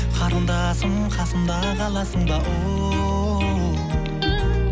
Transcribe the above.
қарындасым қасымда қаласың ба оу